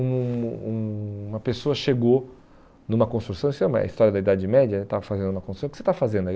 Um um uma pessoa chegou numa construção, isso é uma história da Idade Média e tal, estava fazendo uma construção, o que você está fazendo aí?